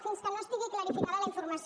fins que no estigui clarificada la informació